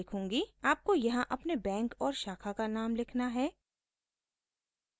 आपको यहाँ अपने बैंक और शाखा का नाम लिखना है